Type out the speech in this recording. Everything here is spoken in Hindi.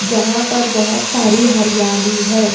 जहां पर बहोत सारी हरियाली है।